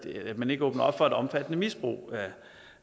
at man ikke åbner op for et omfattende misbrug